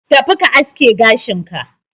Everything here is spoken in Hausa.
Tafi ka aske gashin ka